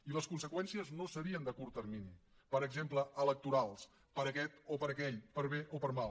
i les conseqüències no serien de curt termini per exemple electorals per a aquest o per a aquell per bé o per mal